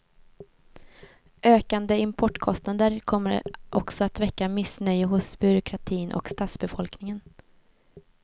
Ökande importkostnader kommer också att väcka missnöje hos byråkratin och stadsbefolkningen.